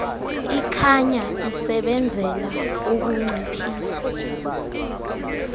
ikhanya isebenzela ukunciphisa